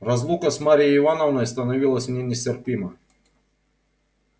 разлука с марьей ивановной становилась мне нестерпима